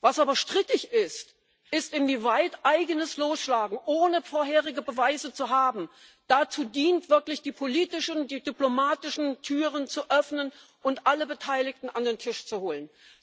Was aber strittig ist, ist inwieweit eigenes Losschlagen, ohne vorherige Beweise zu haben, dazu dient, wirklich die politischen und die diplomatischen Türen zu öffnen und alle Beteiligten an den Tisch zu holen.